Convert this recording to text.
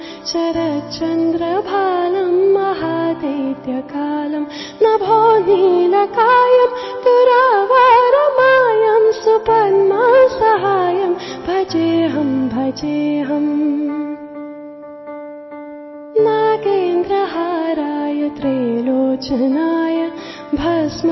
Song